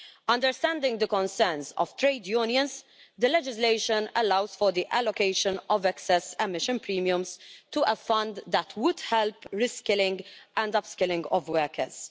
Understanding the concerns of trade unions, the legislation allows for the allocation of excess emission premiums to a fund that would help the reskilling and upskilling of workers.